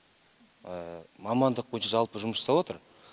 мамандық бойынша жалпы жұмыс жасап жатыр